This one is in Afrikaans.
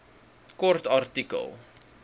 kort artikel